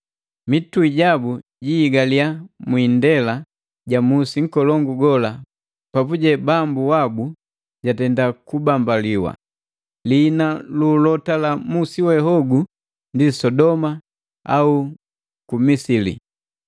Mitui jabu jihigaliya mwiindela ja musi nkolongu gola papuje Bambu wabu jatenda kubambaliwa. Liina lu ulota la musi we hogu ndi Sodoma au ku Misili.